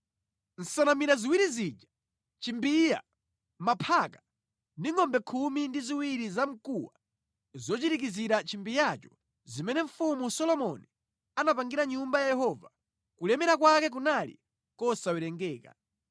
Nsanamira ziwiri zija, chimbiya, maphaka ndi ngʼombe khumi ndi ziwiri za mkuwa zochirikizira chimbiyacho zimene mfumu Solomoni anapangira Nyumba ya Yehova kulemera kwake kunali kosawerengeka.